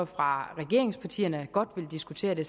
fra regeringspartierne godt vil diskutere det